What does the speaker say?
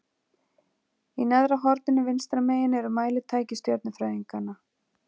Í neðra horninu vinstra megin eru mælitæki stjörnufræðinganna.